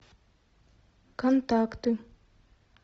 контакты